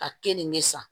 Ka keninke san